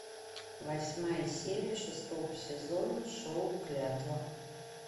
восьмая серия шестого сезона шоу клятва